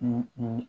U u